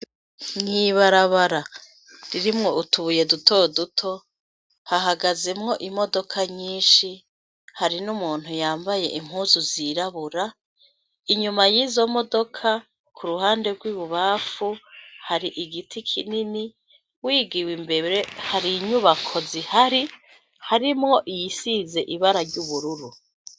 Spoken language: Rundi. Mw’ibarabara irimwo utubuye dutoduto hahagazemwo imodoka nyinshi hari n'umuntu yambaye impuzu zirabura, inyuma yizo modoka ku ruhande rw'ibubamfu hari igiti kinini, wigiwe imbere hari inyubako zihari, harimwo iyisize ibara ry'ubururu.